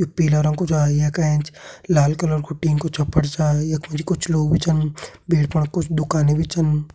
You पीला रंग कु छा येका एंच लाल कलर कु टीन कु छपर छा यख मा जी कुछ लोग भी छन फण कुछ दुकानि भी छन।